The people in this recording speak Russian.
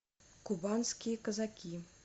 кубанские казаки